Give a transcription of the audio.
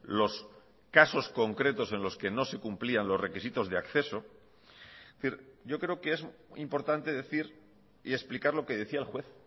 los casos concretos en los que no se cumplían los requisitos de acceso es decir yo creo que es importante decir y explicar lo que decía el juez